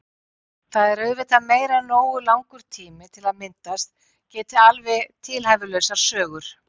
Það er auðvitað meira en nógu langur tími til að myndast geti alveg tilhæfulausar sögur.